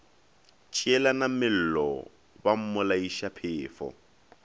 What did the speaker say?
tšeelana mello ba mmolaiša phefo